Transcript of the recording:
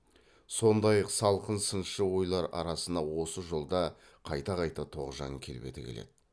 сондай салқын сыншы ойлар арасына осы жолда қайта қайта тоғжан келбеті келеді